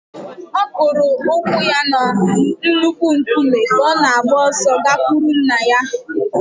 Ọ kụrụ ụkwụ ya na nnukwu nkume ka ọ na-agba ọsọ gakwuru nna ya